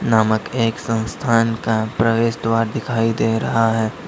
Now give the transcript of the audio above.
नामक एक संस्थान का प्रवेश द्वार दिखाई दे रहा है।